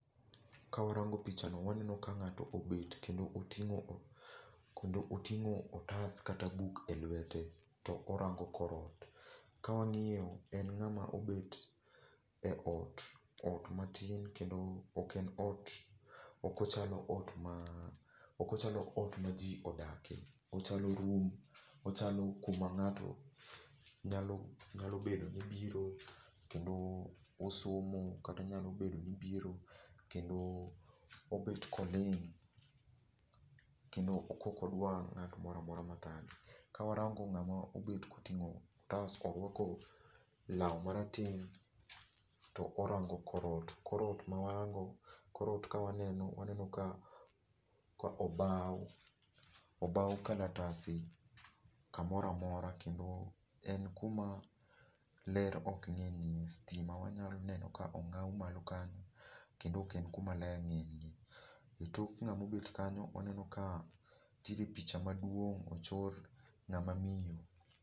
Ka warango picha no waneno ka ng'ato obet kendo oting'o, kendo oting'o otas kata buk e lwete to orango kor ot. Ka wang'iyo en ng'ama obet e ot, ot matin, kendo ok en ot, ok ochalo ot ma, ok ochalo ot ma ji odakie, ochalo [csroom, ochalo kuma ng'ato nyalo bedo ni biro kendo osomo, kata nyalo bedo ni biro kendo obet koling', kendo ka ok odwa ng'at moramora ma thage. Ka warang'o ng'ama obet koting'o otas, orwako law ma rateng' to orango kor ot. Kor ot ma warango, kor ot ka waneno waneno ka obaw. Obaw kalatase kamoramora kendo en kuma ler ok ng'enyie. Stima wanyalo neno ka ong'aw malo kanyo kendo ok en kuma ler ng'enyie. E tok ng'ama obet kanyo waneno ka nitiere p picha maduong' ochor ng'ama miyo.